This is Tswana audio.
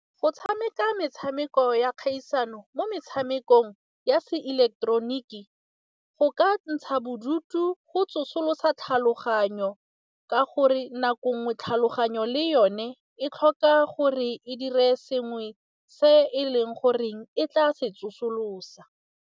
Go tshameka metshameko ya kgaisano mo metshamekong ya se ileketeroniki, go ka ntsha bodutu go tsosolosa tlhaloganyo ka gore nako ngwe tlhaloganyo le yone e tlhoka gore e dire sengwe se e leng goreng e tla se tsosolosa.